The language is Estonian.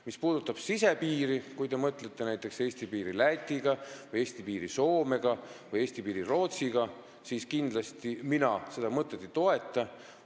Mis puudutab sisepiiri, kui te mõtlete näiteks Eesti piiri Läti, Soome või Rootsiga, siis mina teie mõtet kindlasti ei toeta.